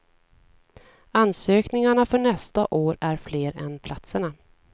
Ansökningarna för nästa år är fler än platserna.